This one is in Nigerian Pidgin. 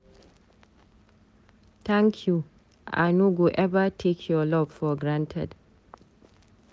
Thank you, I no go eva take your love for granted.